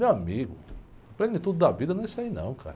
Meu amigo, plenitude da vida não é isso aí não, cara.